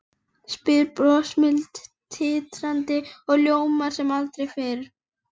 spyr brosmildi ritarinn og ljómar sem aldrei fyrr.